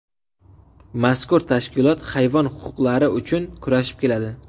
Mazkur tashkilot hayvon huquqlari uchun kurashib keladi.